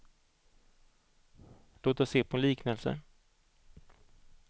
Låt oss se på en liknelse.